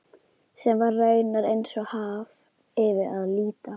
Sem var raunar eins og haf yfir að líta.